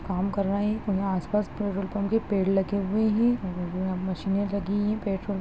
काम कर रहे हैं और यहाँ आस-पास पेट्रोल पम्प के पेड़ लगे हुए हैं मशीने लगीं हैं। पेट्रोल --